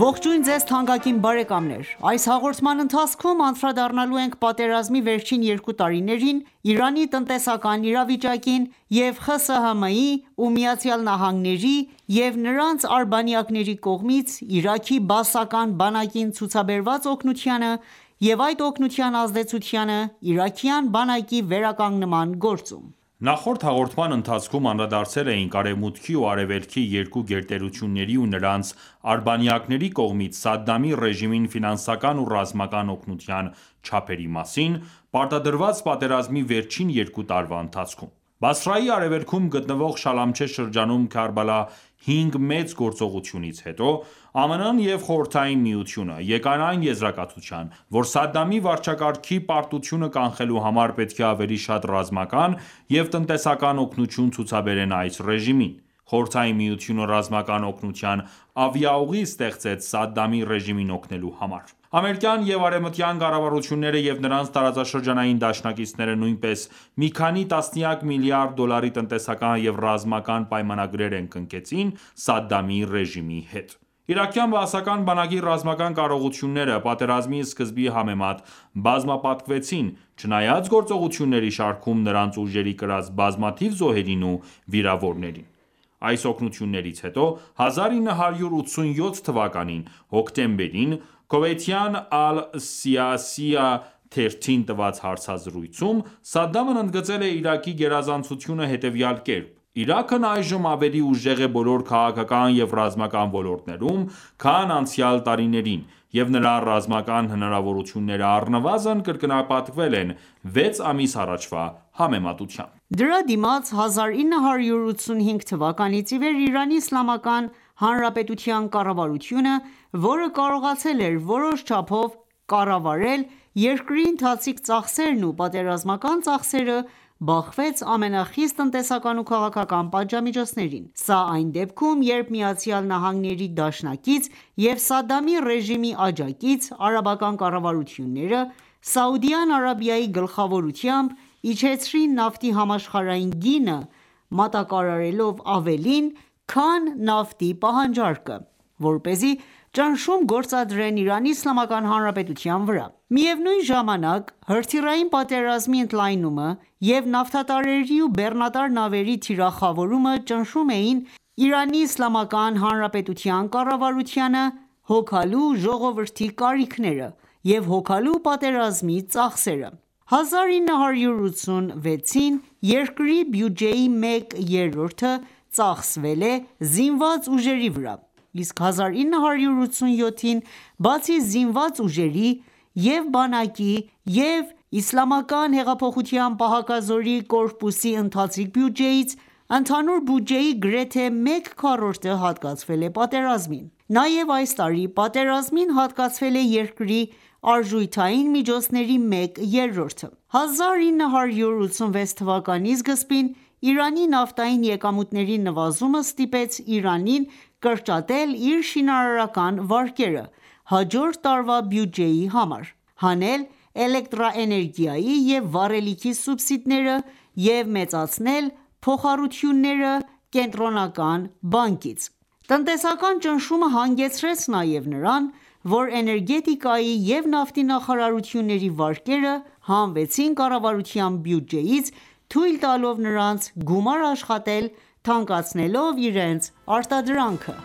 Ողջույն ձեզ թանկագին բարեկամներ: Այս հաղորդման ընթացքում անդրադառնալու ենք պատերազմի վերջին երկու տարիներին Իրանի տնտեսական իրավիճակին և ԽՍՀՄ-ի, ԱՄՆ-ի ու նրանց արբանյակների կողմից Իրաքի բաասական բանակին ցուցաբերված օգնությանը և այդ օգնության ազդեցությանը իրաքյան բանակի վերականգնման գործում։ Նախորդ հաղորդման ընթացքում անդրադարձել էինք Արեւմուտքի ու Արեւելքի երկու գերտերությունների ու նրանց արբանյակների կողմից Սադամի ռեժիմին ֆինանսական ու ռազմական օգնության չափերի մասին՝ պարտադրված պատերազմի վերջին երկու տարվա ընթացքում։ Բասրայի արևելքում գտնվող Շալամչե շրջանում Քարբալա 5 մեծ գործողությունից հետո ԱՄՆ-ը և Խորհրդային Միությունը եկան այն եզրակացության, որ Սադամի վարչակարգի պարտությունը կանխելու համար պետք է ավելի շատ ռազմական և տնտեսական օգնություն ցուցաբերեն այս ռեժիմին։ Խորհրդային Միությունը ռազմական օգնության ավիաուղի ստեղծեց Սադամի ռեժիմին օգնելու համար: Ամերիկան ​​և արևմտյան կառավարությունները և նրանց տարածաշրջանային դաշնակիցները նույնպես մի քանի տասնյակ միլիարդ դոլարի տնտեսական և ռազմական պայմանագրեր են կնքեցին Սադամի ռեժիմի հետ: Իրաքյան բաասական բանակի ռազմական կարողությունները պատերազմի սկզբի համեմատ բազմապատկվեցին՝ չնայած գործողությունների շարքում նրանց ուժերի կրած բազմաթիվ զոհերին ու վիրավորներին։ Այս օգնություններից հետո, 1987թ. հոկտեմբերին, քուվեյթյան «Ալ-Սիյասիա» թերթին տված հարցազրույցում Սադդամն ընդգծել է Իրաքի գերազանցությունը հետևյալ կերպ.«Իրաքն այժմ ավելի ուժեղ է բոլոր քաղաքական և ռազմական ոլորտներում, քան անցյալ տարիներին, և նրա ռազմական հնարավորությունները առնվազն կրկնապատկվել են վեց ամիս առաջվա համեմատությամբ»։ Դրա դիմաց 1985 թվականից իվեր ԻԻՀ-ի կառավարությունը, որը կարողացել էր որոշ չափով կառավարել երկրի ընթացիկ ծախսերն ու պատերազմական ծախսերը, բախվեց ամենախիստ տնտեսական ու քաղաքական պատժամիջոցներին։ Սա այն դեպքում, երբ ԱՄՆ-ի դաշնակից և Սադամի ռեժիմի աջակից Արաբական կառավարությունները Սաուդյան Արաբիայի գլխավորությամբ, իջեցրին նավթի համաշխարհային գինը՝ մատակարարելով ավելին, քան նավթի պահանջարկը, որպեսզի ճնշում գործադրեն ԻԻՀ-ի վրա։ Միևնույն ժամանակ, հրթիռային պատերազմի ընդլայնումը և նավթատարների ու բեռնատար նավերի թիրախավորումը ճնշում էին ԻԻՀ-ի կառավարությանը՝ հոգալու ժողովրդի կարիքները և հոգալու պատերազմի ծախսերը։ 1986-ին երկրի բյուջեի մեկ երրորդը ծախսվել է զինված ուժերի վրա, իսկ 1987-ին, բացի զինված ուժերի՝ և՛ բանակի, և՛ ԻՀՊԿ-ի ընթացիկ բյուջեից, ընդհանուր բյուջեի գրեթե մեկ քառորդը հատկացվել է պատերազմին։ Նաև այս տարի պատերազմին հատկացվել է երկրի արժութային միջոցների մեկ երրորդը։ 1986 թվականի սկզբին Իրանի նավթային եկամուտների նվազումը ստիպեց Իրանին կրճատել իր շինարարական վարկերը հաջորդ տարվա բյուջեի համար, հանել էլեկտրաէներգիայի և վառելիքի սուբսիդիաները և մեծացնել փոխառությունները Կենտրոնական բանկից: Տնտեսական ճնշումը հանգեցրեց նաև նրան, որ էներգետիկայի և նավթի նախարարությունների վարկերը հանվեցին կառավարության բյուջեից՝ թույլ տալով նրանց գումար աշխատել՝ թանկացնելով իրենց արտադրանքը։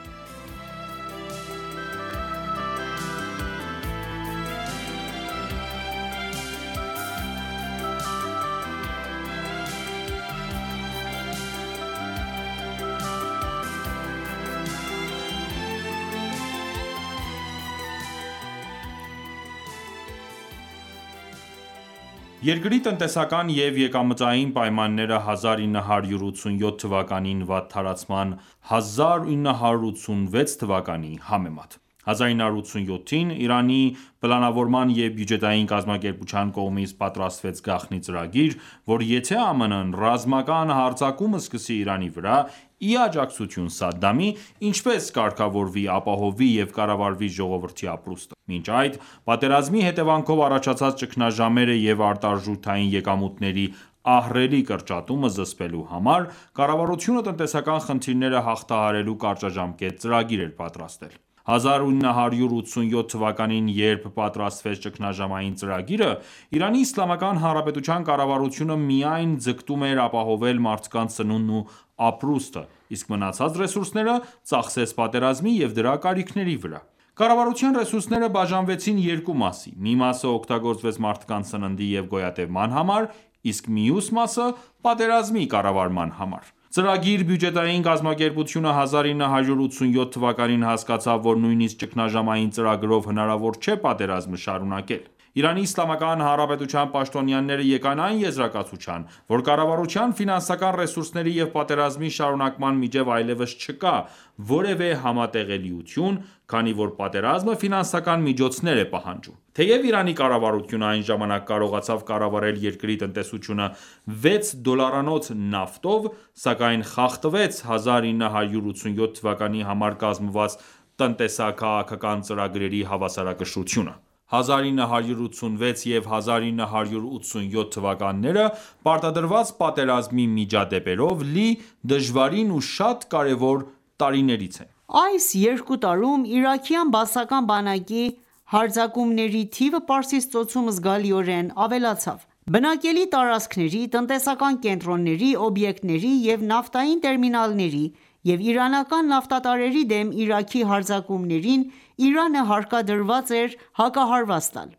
Երկրի տնտեսական և եկամտային պայմանները 1987 թվականին վատթարացան 1986 թվականի համեմատ։ 1987-ին Իրանի պլանավորման և բյուջետային կազմակերպության կողմից պատրաստվեց գաղտնի ծրագիր, որ եթե ԱՄՆ-ը ռազմական հարձակում սկսի Իրանի վրա՝ ի աջակցություն Սադամի, ինչպես կարգավորվի, ապահովվի և կառավարվի ժողովրդի ապրուստը: Մինչ այդ, պատերազմի հետևանքով առաջացած ճգնաժամերը և արտարժութային եկամուտների ահռելի կրճատումը զսպելու համար կառավարությունը տնտեսական խնդիրները հաղթահարելու կարճաժամկետ ծրագիր էր պատրաստել։ 1987թ.-ին, երբ պատրաստվեց ճգնաժամային ծրագիրը, ԻԻՀ-ի կառավարությունը միայն ձգտում էր ապահովել մարդկանց սնունդն ու ապրուստը, իսկ մնացած ռեսուրսները ծախսեց պատերազմի և դրա կարիքների վրա: Կառավարության ռեսուրսները բաժանվեցին երկու մասի, մի մասը օգտագործվեց մարդկանց սննդի և գոյատևման համար, իսկ մյուս մասը՝ պատերազմի կառավարման համար։ Ծրագիր-բյուջետային կազմակերպությունը 1987 թվականին հասկացավ, որ նույնիսկ ճգնաժամային ծրագրով հնարավոր չէ պատերազմը շարունակել։ ԻԻՀ-ի պաշտոնյաները եկան այն եզրակացության, որ կառավարության ֆինանսական ռեսուրսների և պատերազմի շարունակման միջև այլևս չկա որևէ համատեղելիություն, քանի որ պատերազմը ֆինանսական միջոցներ է պահանջում։ Թեեւ Իրանի կառավարությունը այն ժամանակ կարողացավ կառավարել երկրի տնտեսությունը 6 դոլարանոց նավթով, սակայն խախտվեց 1987 թվականի համար կազմված տնտեսա-քաղաքական ծրագրերի հավասարակշռությունը։ 1986 և 1987 թվականները պարտադրված պատերազմի միջադեպերով լի, դժվարին ու շատ կարևոր տարիներից են: Այս երկու տարում իրաքյան բաասական բանակի հարձակումների թիվը Պարսից Ծոցում զգալիորեն ավելացավ: Բնակելի տարածքների, տնտեսական կենտրոնների, օբյեկտների և նավթային տերմինալների և իրանական նավթատարների դեմ Իրաքի հարձակումներին Իրանը հարկադրված էր հակահարված տալ: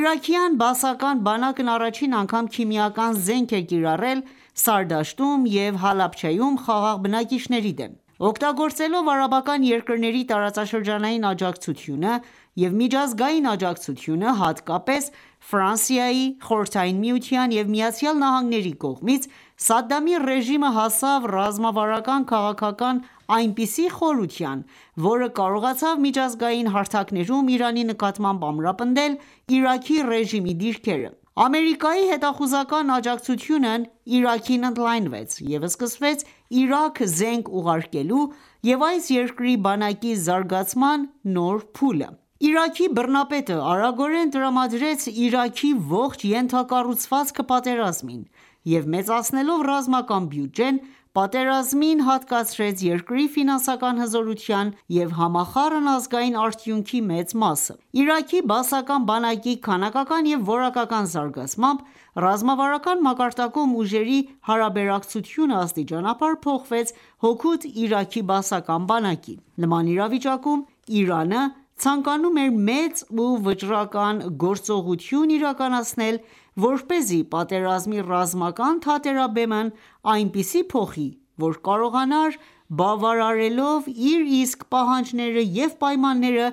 Իրաքյան բաասական բանակն առաջին անգամ քիմիական զենք է կիրառել Սարդաշտում և Հալաբջայում խաղաղ բնակիչների դեմ։ Օգտագործելով արաբական երկրների տարածաշրջանային աջակցությունը և միջազգային աջակցությունը, հատկապես Ֆրանսիայի, Խորհրդային Միության և Միացյալ Նահանգների կողմից, Սադամի ռեժիմը հասավ ռազմավարական քաղաքական այնպիսի խորության, որը կարողացավ միջազգային հարթակներում Իրանի նկատմամբ ամրապնդել Իրաքի ռեժիմի դիրքերը: Ամերիկայի հետախուզական աջակցությունն Իրաքին ընդլայնվեց, և սկսվեց Իրաք զենք ուղարկելու և այս երկրի բանակի զարգացման նոր փուլը: Իրաքի բռնապետը արագորեն տրամադրեց Իրաքի ողջ ենթակառուցվածքը պատերազմին և մեծացնելով ռազմական բյուջեն՝ պատերազմին հատկացրեց երկրի ֆինանսական հզորության և համախառն ազգային արդյունքի մեծ մասը: Իրաքի բաասական բանակի քանակական և որակական զարգացմամբ ռազմավարական մակարդակում ուժերի հարաբերակցությունը աստիճանաբար փոխվեց հօգուտ Իրաքի բաասական բանակի: Նման իրավիճակում Իրանը ցանկանում էր մեծ ու վճռական գործողություն իրականացնել, որպեսզի պատերազմի ռազմական թատերաբեմն այնպես փոխի, որ կարողանար բավարարելով իր իսկ պահանջները և պայմանները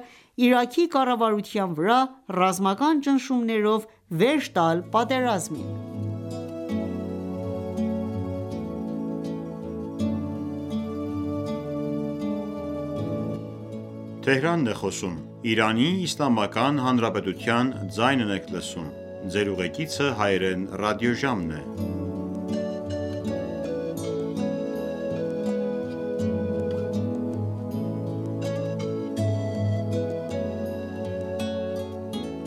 Իրաքի կառավարության վրա ռազմական ճնշումներով վերջ տալ պատերազին։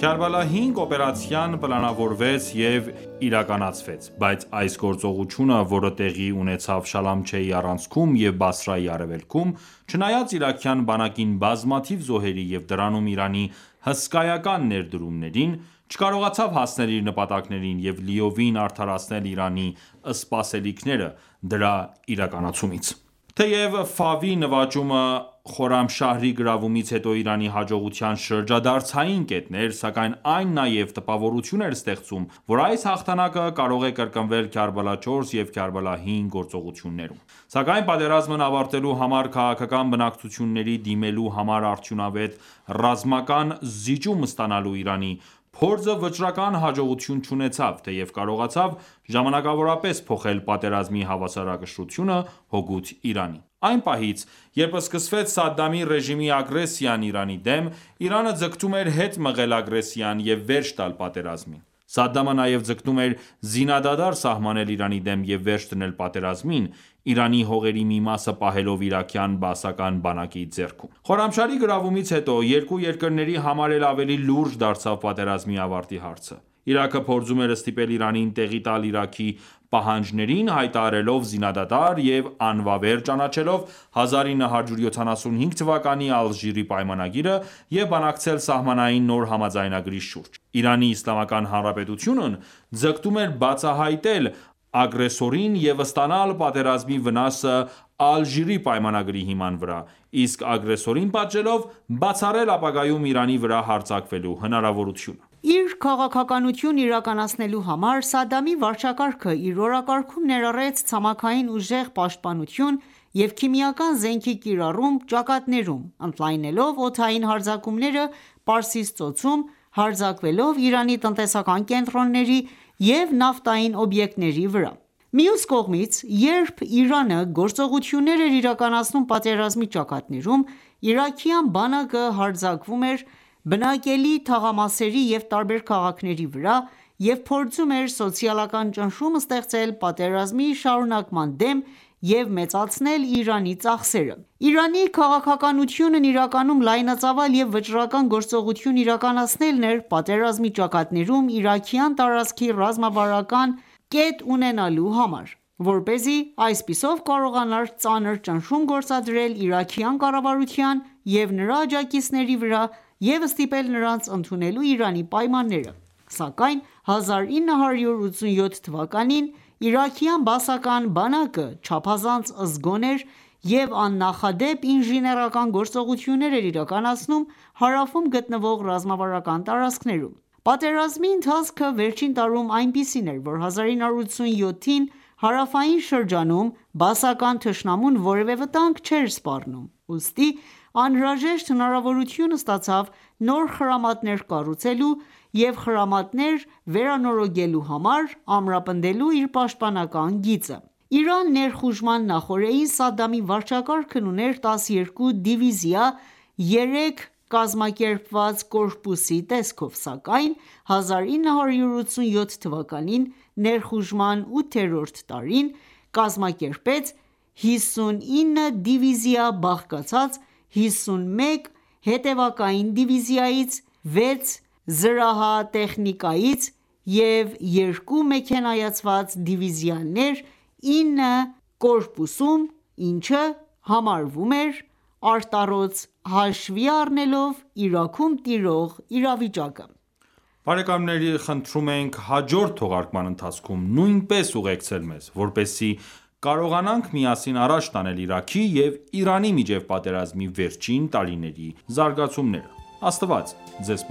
Քարբալա 5 օպերացիան պլանավորվեց և իրականացվեց, բայց այս գործողությունը, որը տեղի ունեցավ Շալամչեի առանցքում և Բասրայի արևելքում, չնայած իրաքյան բանակին բազմաթիվ զոհերի և դրանում Իրանի հսկայական ներդրումներին, չկարողացավ հասնել իր նպատակներին և լիովին արդարացնել Իրանի սպասելիքները դրա իրականացումից։ Թեև Ֆավի նվաճումը Խորամշահրի գրավումից հետո Իրանի հաջողության շրջադարձային կետն էր, սակայն այն նաև տպավորություն էր ստեղծում, որ այս հաղթանակը կարող է կրկնվել Քարբալա 4 և Քարբալա 5 գործողություններում։ Սակայն պատերազմն ավարտելու համար քաղաքական բանակցությունների դիմելու համար արդյունավետ ռազմական զիջում ստանալու Իրանի փորձը վճռական հաջողություն չունեցավ, թեև կարողացավ ժամանակավորապես փոխել պատերազմի հավասարակշռությունը հօգուտ Իրանի։ Այն պահից, երբ սկսվեց Սադամի ռեժիմի ագրեսիան Իրանի դեմ, Իրանը ձգտում էր հետ մղել ագրեսիան և վերջ տալ պատերազմին: Սադամը նաև ձգտում էր զինադադար սահմանել Իրանի դեմ և վերջ դնել պատերազմին՝ Իրանի հողերի մի մասը պահելով իրաքյան բաասական բանակի ձեռքում։ Խորամշահրի գրավումից հետո երկու երկրների համար էլ ավելի լուրջ դարձավ պատերազմի ավարտի հարցը։ Իրաքը փորձում էր ստիպել Իրանին տեղի տալ Իրաքի պահանջներին՝ հայտարարելով զինադադար և անվավեր ճանաչելով 1975 թվականի Ալժիրի պայմանագիրը և բանակցել սահմանային նոր համաձայնագրի շուրջ։ ԻԻՀ-ն ձգտում էր բացահայտել ագրեսորին և ստանալ պատերազմի վնասը Ալժիրի պայմանագրի հիման վրա, իսկ ագրեսորին պատժելով՝ բացառել ապագայում Իրանի վրա հարձակվելու հնարավորությունը։ Իր քաղաքականությունն իրականացնելու համար Սադամի վարչակարգը իր օրակարկում ներառեց ցամաքային ուժեղ պաշտպանություն և քիմիական զենքի կիրառում ճակատներում՝ ընդլայնելով օդային հարձակումները Պարսից ծոցում՝ հարձակվելով Իրանի տնտեսական կենտրոնների և նավթային օբյեկտների վրա։ Մյուս կողմից, երբ Իրանը գործողություններ էր իրականացնում պատերազմի ճակատներում, իրաքյան բանակը հարձակվում էր բնակելի թաղամասերի և տարբեր քաղաքների վրա և փորձում էր սոցիալական ճնշում ստեղծել պատերազմի շարունակման դեմ և մեծացնել Իրանի ծախսերը։ Իրանի քաղաքականությունն իրականում լայնածավալ և վճռական գործողություն իրականացնելն էր պատերազմի ճակատներում՝ իրաքյան տարածքի ռազմավարական կետ ունենալու համար, որպեսզի այսպիսով կարողանար ծանր ճնշում գործադրել իրաքյան կառավարության և նրա աջակիցների վրա և ստիպել նրանց ընդունել Իրանի պայմանները։ Սակայն 1987 թվականին իրաքյան բաասական բանակը չափազանց զգոն էր և աննախադեպ ինժեներական գործողություններ էր իրականացնում հարավում գտնվող ռազմավարական տարածքներում: Պատերազմի ընթացքը վերջին տարում այնպիսին էր, որ 1987-ին հարավային շրջանում բաասական թշնամուն որևէ վտանգ չէր սպառնում, ուստի անհրաժեշտ հնարավորություն ստացավ նոր խրամատներ կառուցելու և խրամատներ վերանորոգելու համար՝ ամրապնդելու իր պաշտպանական գիծը։ Իրան ներխուժման նախօրեին Սադամի վարչակարգն ուներ 12 դիվիզիա՝ երեք կազմակերպված կորպուսի տեսքով, սակայն 1987 թվականին (ներխուժման ութերորդ տարին) կազմակերպեց 59 դիվիզիա՝ բաղկացած 51 հետևակային դիվիզիայից, 6 զրահատեխնիկայից և 2 մեքենայացված դիվիզիաներ 9 կորպուսում, ինչը համարվում էր արտառոց՝ հաշվի առնելով Իրաքում տիրող իրավիճակը։ Բարեկամների խնդրում ենք հաջորդ թողարկման ընթացքում նույնպես ուղեկցել մեզ, որպեսզի կարողանանք միասին առաջ տանել Իրաքի և Իրանի միջև պատերազմի վերջին տարիների զարգացումները։ Աստված ձեզ